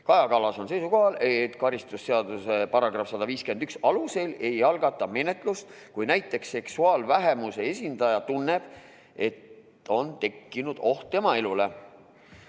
Kaja Kallas on seisukohal, et karistusseadustiku § 151 alusel ei algatata menetlust, kui näiteks seksuaalvähemuse esindaja tunneb, et on tekkinud oht tema elule.